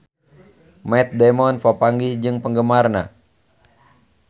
Matt Damon papanggih jeung penggemarna